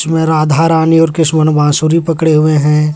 मैं राधा रानी और कृष्ण बांसुरी पकड़े हुए हैं।